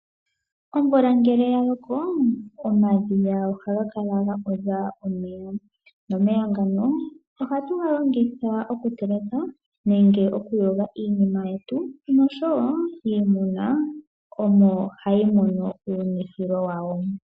Omvula ngele yaloko omadhiya ohaga kala guudha omeya. Ohatu galongitha oku teleka oshowo okuyoga iinima yetu. Iimuna omo hayi mono uunwithilo wayo.